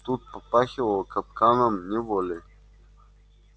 тут попахивало капканом неволей